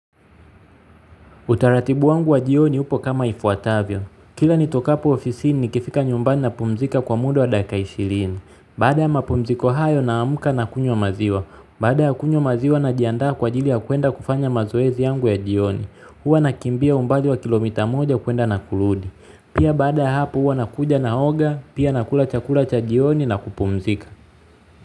Utaratibu wangu wa jioni upo kama ifuatavyo. Kila nitokapo ofisini nikifika nyumbani napumzika kwa muda wa dakika ishirini. Baada ya mapumziko hayo namka na kunywa maziwa. Baada ya kunywa maziwa najiandaa kwa ajili ya kuenda kufanya mazoezi yangu ya jioni. Huwa nakimbia umbali wa kilomita moja kuenda na kurudi. Pia baada ya hapu huwa nakuja naoga. Pia nakula chakula cha jioni na kupumzika.